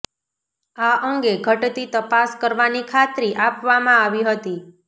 આ અંગે ઘટતી તપાસ કરવાની ખાત્રી આપવામાં આવી હતી